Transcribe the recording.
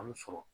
An mi sɔrɔ